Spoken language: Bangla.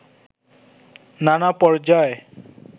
নানা পর্যায়